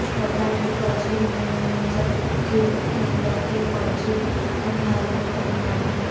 برطانوی فوجی ہلمند میں جکبہ کینیڈا کے فوجی قندھار میں تعینات ہیں